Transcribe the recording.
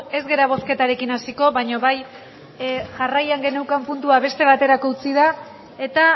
ez gara bozketarekin hasiko baina bai jarraian geneukan puntua beste baterako utzi da eta